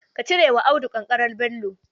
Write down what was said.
Ka cire wa Audu kankanar Bello.